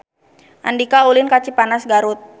Andika ulin ka Cipanas Garut